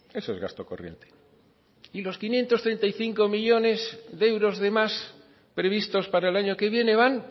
eso es gasto corriente y los quinientos treinta y cinco millónes de euros de más previstos para el año que viene van